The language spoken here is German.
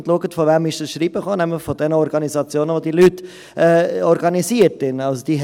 Schauen Sie, von wem das Schreiben gekommen ist, nämlich von den Organisationen, in denen die Leute organisiert sind.